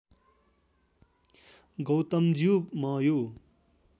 गौतमज्यू म यो